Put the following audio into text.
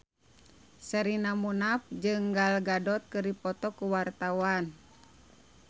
Sherina Munaf jeung Gal Gadot keur dipoto ku wartawan